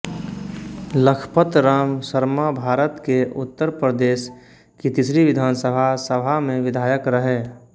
लखपत राम शर्माभारत के उत्तर प्रदेश की तीसरी विधानसभा सभा में विधायक रहे